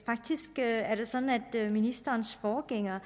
faktisk er det sådan at ministerens forgænger